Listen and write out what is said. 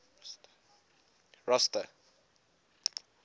rosta